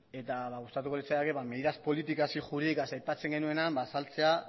eta gustatuko litzaidake medidas políticas y jurídicas aipatzen genuenean azaltzea